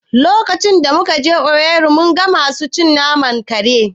Lokacin da muka je Owerri mun ga masu cin naman kare